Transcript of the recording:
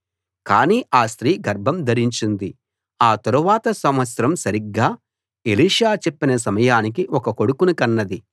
కానీ ఆ స్త్రీ గర్భం ధరించింది ఆ తరువాత సంవత్సరం సరిగ్గా ఎలీషా చెప్పిన సమయానికి ఒక కొడుకుని కన్నది